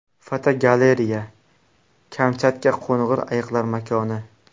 Fotogalereya: Kamchatka qo‘ng‘ir ayiqlar makoni.